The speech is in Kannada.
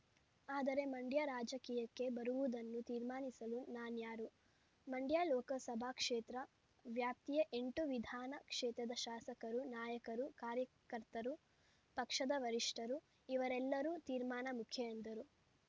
ಆದರೆ ಮಂಡ್ಯ ರಾಜಕೀಯಕ್ಕೆ ಬರುವುದನ್ನು ತೀರ್ಮಾನಿಸಲು ನಾನ್ಯಾರು ಮಂಡ್ಯ ಲೋಕಸಭಾ ಕ್ಷೇತ್ರ ವ್ಯಾಪ್ತಿಯ ಎಂಟು ವಿಧಾನ ಕ್ಷೇತ್ರದ ಶಾಸಕರು ನಾಯಕರು ಕಾರ್ಯಕರ್ತರು ಪಕ್ಷದ ವರಿಷ್ಠರು ಇವರೆಲ್ಲರ ತೀರ್ಮಾನ ಮುಖ್ಯ ಎಂದರು